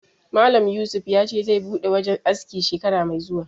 Malam Yusuf ya ce zai buɗe wajen aski shekara mai zuwa